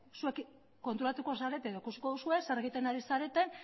zuek konturatuko zarete edo ikusiko duzue zer egiten ari zareten